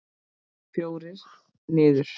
Fjórir niður.